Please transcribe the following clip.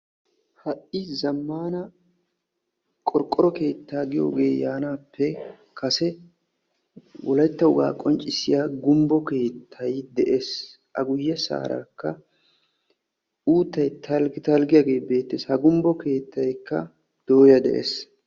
Ha'i zammana qorqqoro keettaa giyooge yaanappe kase wolaytta wogaa qonccissya gumbbo keetta asay qonccissiyaa gumbbo keettay de'ees. A guyyeesarakka uuttay talggi talggiyaage beettees. Ha gumbbo keettaykka dooyya de'ees.